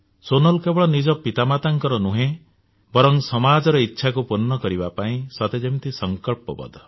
ସୋନାଲ କେବଳ ନିଜ ପିତାମାତାଙ୍କର ନୁହେଁ ବରଂ ସମାଜର ଇଚ୍ଛାକୁ ପୂର୍ଣ୍ଣ କରିବା ପାଇଁ ସତେ ଯେମିତି ସଙ୍କଳ୍ପ ବଦ୍ଧ